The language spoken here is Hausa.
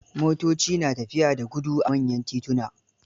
Motoci na tafiya da gudu a manyan tituna.